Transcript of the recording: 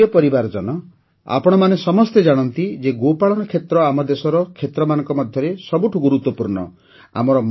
ମୋର ପ୍ରିୟ ପରିବାରଜନ ଆପଣମାନେ ସମସ୍ତେ ଜାଣନ୍ତି ଯେ ଗୋପାଳନ କ୍ଷେତ୍ର ଆମ ଦେଶର କ୍ଷେତ୍ରମାନଙ୍କ ମଧ୍ୟରେ ସବୁଠୁ ଗୁରୁତ୍ୱପୂର୍ଣ୍ଣ